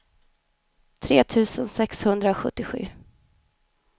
tre tusen sexhundrasjuttiosju